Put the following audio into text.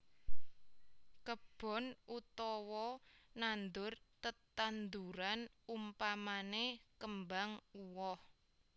Kebon utawa nandur tetandhuran umpamane kembang uwoh